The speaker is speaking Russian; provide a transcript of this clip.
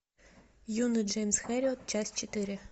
юный джеймс хэрриот часть четыре